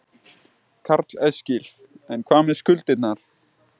Karl Eskil: En hvað með skuldirnar?